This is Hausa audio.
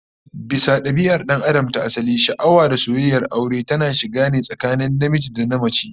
Bisa dabia'ar dan Adam ta asali, sha'awa da soyayyar aure tana shiga ne tsakanin namiji da namace